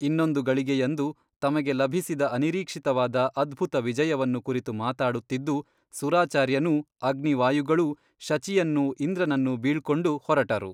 ಇನ್ನೊಂದು ಗಳಿಗೆಯಂದು ತಮಗೆ ಲಭಿಸಿದ ಅನಿರೀಕ್ಷಿತವಾದ ಅದ್ಭುತ ವಿಜಯವನ್ನು ಕುರಿತು ಮಾತಾಡುತ್ತಿದ್ದು ಸುರಾಚಾರ್ಯನೂ ಅಗ್ನಿವಾಯುಗಳೂ ಶಚಿಯನ್ನೂ ಇಂದ್ರನನ್ನೂ ಬೀಳ್ಕೊಂಡು ಹೊರಟರು.